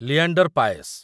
Leander Paes